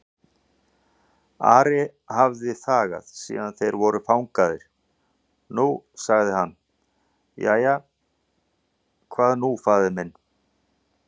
Ari hafði þagað síðan þeir voru fangaðir, nú sagði hann:-Jæja, hvað nú faðir minn?